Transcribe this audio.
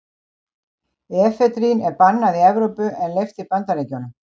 Efedrín er bannað í Evrópu en leyft í Bandaríkjunum.